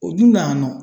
O dun na yan nɔ